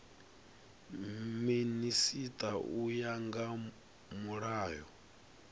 minisita u ya nga mulayo